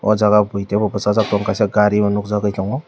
ahh jaga bui teibo bwsajak tongo kaisa gari o nugjagui tongo.